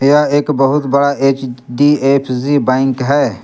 यह एक बहुत बड़ा एच_डी_एफ_सी बैंक है।